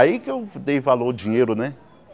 Aí que eu dei valor ao dinheiro, né?